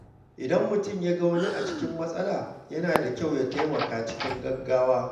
Idan mutum ya ga wani a cikin matsala, yana da kyau ya taimaka cikin gaggawa.